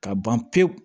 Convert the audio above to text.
Ka ban pewu